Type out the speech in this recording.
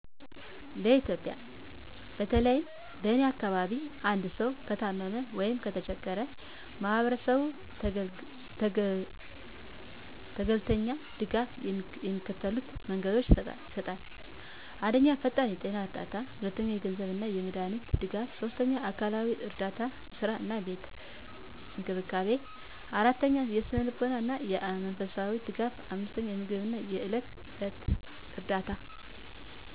በኢትዮጵያ፦ በተለይም በእኔ አካባቢዎች አንድሰዉ ከታመመ ወይም ከተቸገራ የማሀበራስቡ ተገለልተኛ ድጋፍ የሚከተሉት መንገዶች ይሰጣል። 1 ፈጣን የጤና እርዳታ 2 የገንዘብ አና የመዳሃኒት ድጋፍ 3 የአካልዊ እረዳታ ሥራ አና ቤት እንክብካቤን 4የስነልቦና አና የመንፈሳዊ ደጋፍ 5የምግብ አና የዕለት ከዕለት እርዳታ